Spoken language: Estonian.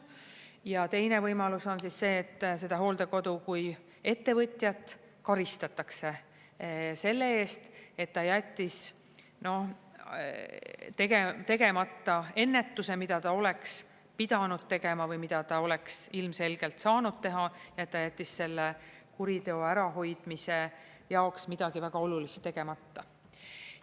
Ja teine võimalus on see, et seda hooldekodu kui ettevõtjat karistatakse selle eest, et ta jättis tegemata ennetuse, mida ta oleks pidanud tegema või mida ta oleks ilmselgelt saanud teha, et ta jättis selle kuriteo ärahoidmise jaoks midagi väga olulist tegemata.